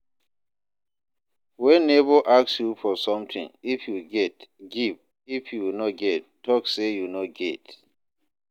When neighbor ask you for something if you get, give if you no get talk say you no get